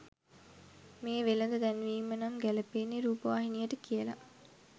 මේ වෙළෙඳ දැන්වීම නම් ගැළපෙන්නෙ රූපවාහිනියට කියලා